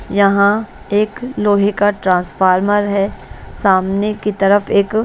यहाँ एक लोहे का ट्रांसफार्मर है सामने की तरफ एक--